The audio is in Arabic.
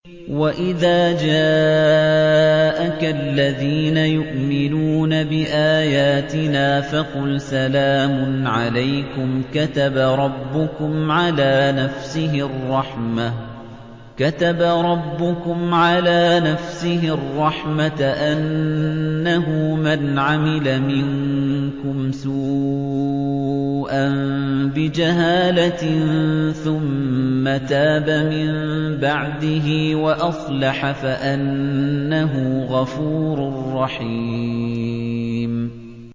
وَإِذَا جَاءَكَ الَّذِينَ يُؤْمِنُونَ بِآيَاتِنَا فَقُلْ سَلَامٌ عَلَيْكُمْ ۖ كَتَبَ رَبُّكُمْ عَلَىٰ نَفْسِهِ الرَّحْمَةَ ۖ أَنَّهُ مَنْ عَمِلَ مِنكُمْ سُوءًا بِجَهَالَةٍ ثُمَّ تَابَ مِن بَعْدِهِ وَأَصْلَحَ فَأَنَّهُ غَفُورٌ رَّحِيمٌ